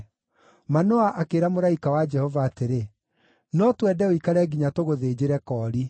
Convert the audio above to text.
Manoa akĩĩra mũraika wa Jehova atĩrĩ, “No twende ũikare nginya tũgũthĩnjĩre koori.”